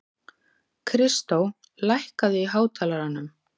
Kristó, lækkaðu í hátalaranum.